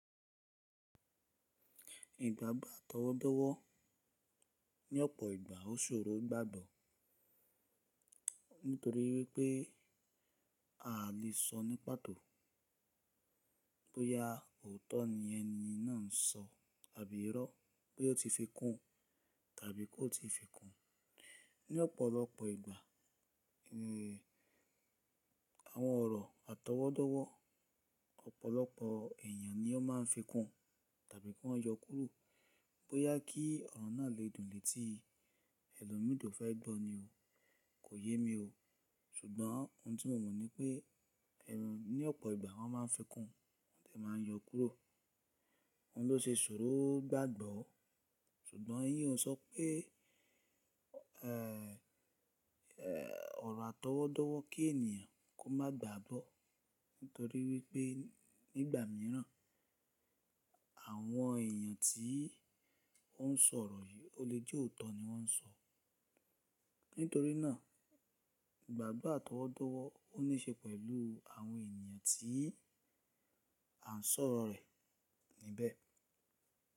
Ìgbàgbà àtọwọ́dọ́wọ́ ní ọ̀pọ̀ ìgbà ó ṣòro gbàgbọ́ nítorí wípé a lè sọ ní pàtó bóyá òótọ́ ni ẹni náà ń sọ àbí irọ́, bóyá ó ti fi kún tàbí kò ti fi kún. Ní ọ̀pọ̀lọpọ̀ ìgbà, àwọn ọ̀rọ̀ àtọwọ́dọ́wọ́ ọ̀pọ̀lọpọ̀ èyàn ni ó ma ń fi kún tàbí kan yọ kúrò bóyá kí ọ̀rọ̀ náà lè dùn létí. Ẹlòmíì to fẹ́ gbọ́ ni o, kò yé mi o. Ṣùgbọ́n ohun tí mo mọ̀ ni pé ẹrù ní ọ̀pọ̀ ìgbà wọn máa ń fi kún tàbí máa ń yọ kúrò. Óún ló se ṣòro gbàgbọ́. Ṣùgbọ́n iyẹn ó sọ pé, ọ̀rọ̀ àtọwọ́dọ́wọ́ kí ènìyàn kó má gbàgbọ́ nítorí wípé nígbà míràn àwọn èyàn tí ó ń sọ ọ̀rọ̀ yìí o lè jẹ́ òótọ́ ni wọ́n ń sọ. Nítorí náà ìgbàgbọ́ àtọwọ́dọ́wọ́ o ní ṣe pẹ̀lú àwọn ènìyàn tí à ń sọ̀rọ̀ rẹ̀ níbẹ̀